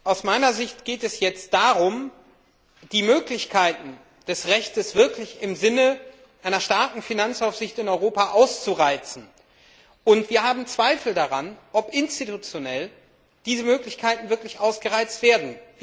Aus meiner Sicht geht es jetzt darum, die Möglichkeiten des Rechts wirklich im Sinne einer starken Finanzaufsicht in Europa auszureizen, und wir haben Zweifel daran, ob diese Möglichkeiten institutionell wirklich ausgereizt werden.